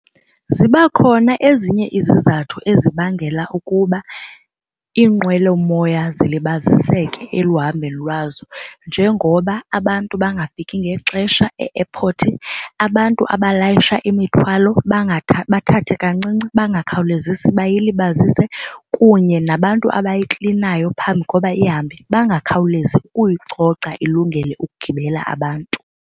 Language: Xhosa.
Ziba khona ezinye izizathu ezibangela ukuba iinqwelomoya zilibaziseke eluhambeni lwazo njengoba abantu bangafiki ngexesha e-airpot, abantu abalayisha imithwalo bathathe kancinci bangakhawulezisi bayilibazise kunye nabantu abayiklinayo phambi koba ihambe bangakhawulezi ukuyicoca ilungele ukugibela abantu.